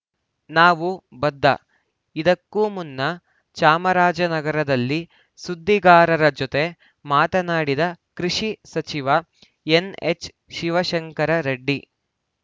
ನಾವು ಬದ್ಧ ಇದಕ್ಕೂ ಮುನ್ನ ಚಾಮರಾಜನಗರದಲ್ಲಿ ಸುದ್ದಿಗಾರರ ಜೊತೆ ಮಾತನಾಡಿದ್ದ ಕೃಷಿ ಸಚಿವ ಎನ್‌ಎಚ್‌ಶಿವಶಂಕರ ರೆಡ್ಡಿ